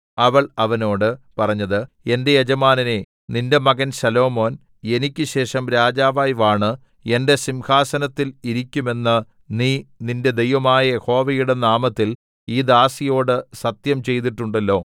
അവൾ അവനോട് പറഞ്ഞത് എന്റെ യജമാനനേ നിന്റെ മകൻ ശലോമോൻ എനിക്ക് ശേഷം രാജാവായി വാണ് എന്റെ സിംഹാസനത്തിൽ ഇരിക്കും എന്ന് നീ നിന്റെ ദൈവമായ യഹോവയുടെ നാമത്തിൽ ഈ ദാസിയോട് സത്യം ചെയ്തിട്ടുണ്ടല്ലോ